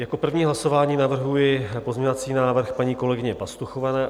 Jako první hlasování navrhuji pozměňovací návrh paní kolegyně Pastuchové.